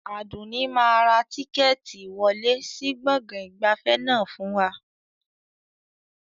Àdùnní máa ra tíkẹ́ẹ́tì ìwọlé sì gbọ̀ngàn ìgbafẹ́ náà fún wa